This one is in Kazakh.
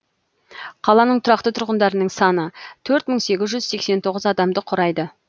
қаланың тұрақты тұрғындарының саны төрт мың сегіз жүз сексен сегіз адамды құрайды